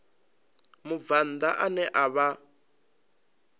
mubvann ḓa ane a vha